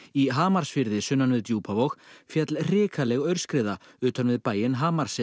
í Hamarsfirði sunnan við Djúpavog féll hrikaleg aurskriða utan við bæinn